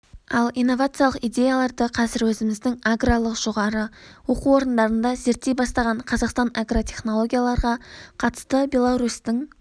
ал инновациялық идеяларды қазір өзіміздің аграрлық жоғарғы оқу орындарында зерттей бастаған қазақстан агротехнологияларға қатысты беларусьтың